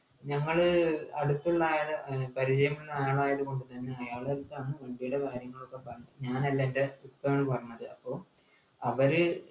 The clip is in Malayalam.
ഞങ്ങള് അടുത്തുള്ള അയാള് പരിചയമുള്ള ആളായതുകൊണ്ട് തന്നെ അയാളടുത്താണ് വണ്ടിയുടെ കാര്യങ്ങളൊക്കെ പറഞ്ഞ് ഞാനല്ല എൻ്റെ ഉപ്പയാണ് പറഞ്ഞത് അപ്പൊ അവര്